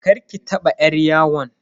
Karki taba yar yawon.